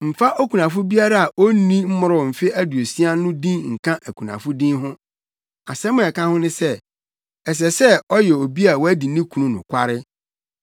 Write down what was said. Mfa okunafo biara a onni mmoroo mfe aduosia no din nka akunafo din ho. Asɛm a ɛka ho ne sɛ, ɛsɛ sɛ ɔyɛ obi a wadi ne kunu nokware,